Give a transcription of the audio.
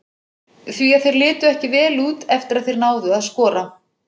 Því að þeir litu ekki vel út eftir að þeir náðu að skora.